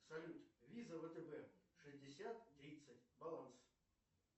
салют виза втб шестьдесят тридцать баланс